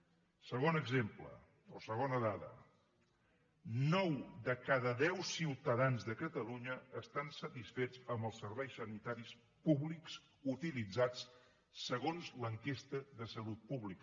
segon exemple o segona dada nou de cada deu ciutadans de catalunya estan satisfets amb els serveis sanitaris públics utilitzats segons l’enquesta de salut pública